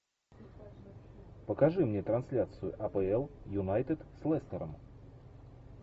покажи мне трансляцию апл юнайтед с лестером